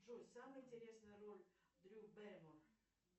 джой самая интересная роль дрю берримор